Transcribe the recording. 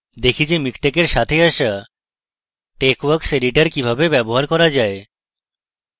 দেখা যাক মিকটেক এর সাথে আসা texworks editor কিভাবে ব্যবহার করা যায়